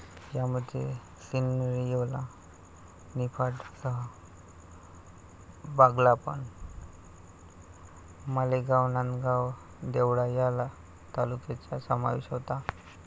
यामध्ये सिन्नर, येवला, निफाडसह बागलाण, मालेगाव, नांदगाव, देवळा या तालुक्यांचा समावेश होता.